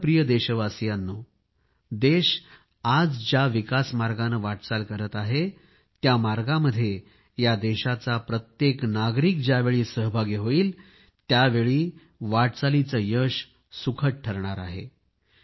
माझ्या प्रिय देशवासियांनो देश आज ज्या विकास मार्गाने वाटचाल करीत आहे त्या मार्गामध्ये या देशाचा प्रत्येक नागरिक ज्यावेळी सहभागी होईल त्यावेळी वाटचालीचे यश सुखद ठरणार आहे